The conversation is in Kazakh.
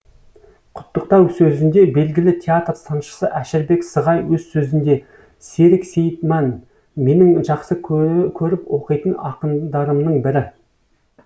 құттықтау сөзінде белгілі театр сыншысы әшірбек сығай өз сөзінде серік сейітман менің жақсы көріп оқитын ақындарымның бірі